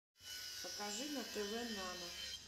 покажи на тв нано